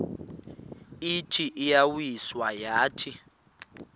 ithi iyawisa yathi